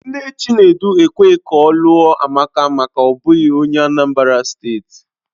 Nne Chinedu ekweghị ọ lụọ Amaka maka na ọ bụghị onye Anambra steeti.